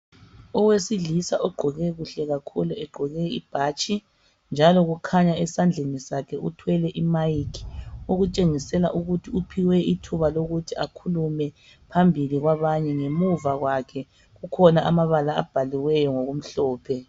Owesilisa ogqoke kuhle kakhulu egqoke ibhatshi njalo kukhanya esandleni sakhe ethwele imayikhi okutshengisela ukuthi uphiwe ithuba lokuthi akhulume phambili kwabanye. Ngemuva kwakhe kukhona amabala abhaliweyo ngokumhlophe.